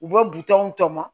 U bɛ bitɔn tɔmɔ